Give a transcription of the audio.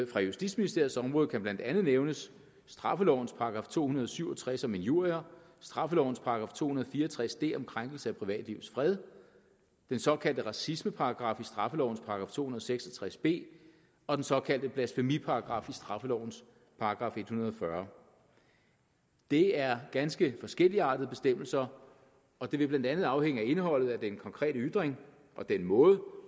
fra justitsministeriets område blandt andet nævnes straffelovens § to hundrede og syv og tres om injurier straffelovens § to hundrede og fire og tres d om krænkelse af privatlivets fred den såkaldte racismeparagraf i straffelovens § to og seks og tres b og den såkaldte blasfemiparagraf i straffelovens § en hundrede og fyrre det er ganske forskelligartede bestemmelser og det vil blandt andet afhænge af indholdet af den konkrete ytring og den måde